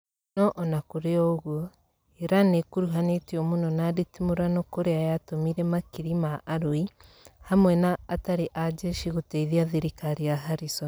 no ona kũri o ũguo Iran nĩ ĩkuruhanĩtio mũno na nditimũrano kũrĩa yatũmire makiri ma arũi hamwe na atari a jeshi gũteithia thirikari ya Harrison